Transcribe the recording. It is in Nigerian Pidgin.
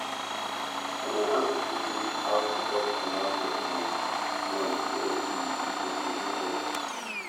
na my aunti teach me how to cut tomato um plant so e e go produce well